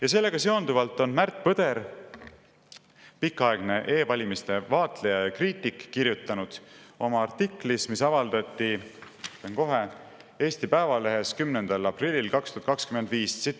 Ja sellega seonduvalt on Märt Põder, pikaaegne e-valimiste vaatleja ja kriitik, kirjutanud oma artiklis, mis avaldati Eesti Päevalehes 10. aprillil 2025 järgmist.